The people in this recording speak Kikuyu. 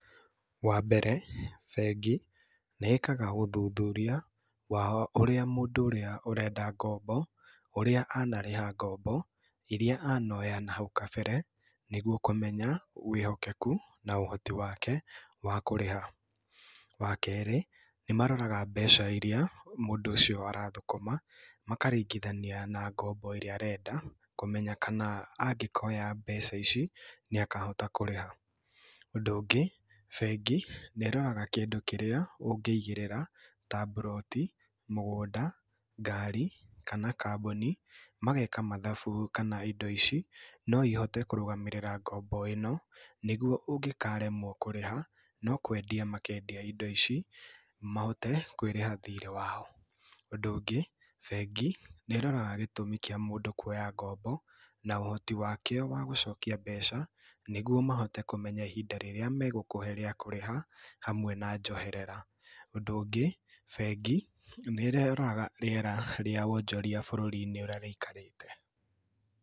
Wambere bengi nĩ ĩkaga ũthuthuria wao ũrĩa mũndũ ũrĩa ũrenda ngombo, ũrĩa anarĩha ngombo, irĩa anoya na hau kabere, nĩguo kũmenya wĩhokeku na ũhoti wake wa kũrĩha. Wa kerĩ, nĩ maroraga mbeca irĩa mũndũ ũcio arathũkũma, makaringithania na ngombo ĩrĩa arenda, kũmenya kana angĩkoya ngombo ici nĩ akahota kũrĩha. Ũndũ ũngĩ, bengi nĩ ĩroraga kĩndũ kĩrĩa ũngĩigĩrĩra ta mburoti, mũgũnda, ngari kana kambuni, mageka mathabu kana indo ici no ihote kũrũgamĩrĩra ngombo ĩno, nĩguo ũngĩkaremwo kũrĩha, no kwendia makendia indo ici mahote kwĩrĩha thirĩ wao. Ũndũ ũngĩ, bengi nĩ ĩroraga gĩtũmi kĩa mũndũ kuoya ngombo na ũhoti wake wa gũcokia mbeca, nĩguo mahote kũmenya ihinda rĩrĩa megũkũhe rĩa kũrĩha hamwe na njoherera. Ũndũ ũngĩ bengi nĩ ĩroraga rĩera rĩa wonjoria bũrũri-inĩ ũrĩa rĩikarĩte.